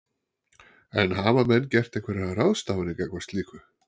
En hafa menn gert einhverjar ráðstafanir gagnvart slíku?